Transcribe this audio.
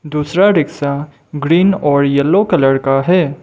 दूसरा rickshaw green और yellow colour का है।